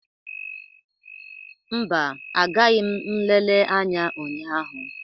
Mba, agaghị m nlele anya ụnyaahụ.